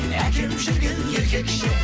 әкем жүрген еркекше